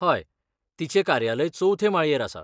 हय, तिचें कार्यालय चवथे माळयेर आसा.